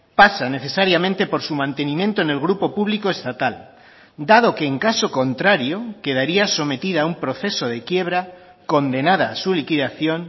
pasa necesariamente por su mantenimiento en el grupo público estatal dado que en caso contrario quedaría sometida a un proceso de quiebra condenada a su liquidación